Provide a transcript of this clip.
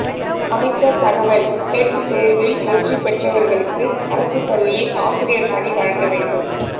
அமைச்சர் தகவல் டெட் தேர்வில் வெற்றி பெற்றவர்களுக்கு அரசு பள்ளியில் ஆசிரியர் பணி வழங்க வேண்டும்